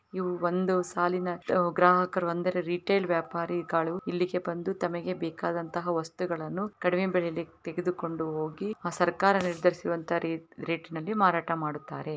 ಇವು ಒಂದು ಸಾಲಿನ ಗ್ರಾಹಕರು ಅಂದ್ರೆ ರಿಟೇಲ್ ವ್ಯಾಪಾರಿಗಳು ಇಲ್ಲಿ ಬಂದು ತಮಗೆ ಬೇಕಾದ ವಸ್ತುಗಳನ್ನು ಕಡಿಮೆ ಬೆಲೆಗೆ ತೆಗೆದುಕೊಂಡು ಹೋಗಿ ಸರ್ಕಾರ ನಿರ್ಧರಿಸಿದ ರೆಟಿನಲಿ ಮಾರಾಟ ಮಾಡುತ್ತಾರೆ.